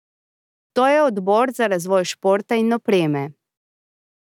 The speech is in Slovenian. To je odbor za razvoj športa in opreme.